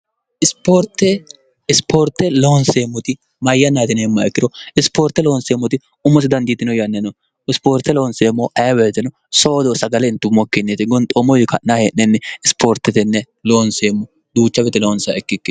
ispoorte loonseemmoti mayyanna yitineemma ikkiro isipoorte loonseemmoti ummosi dandiitino yanni no ispoorte loonseemmo aberteno soodo sagalentummokkinneete gonxoommo yi ka'naa hee'nenni isipoortetenne loonseemmo duucha wete loonsa ikki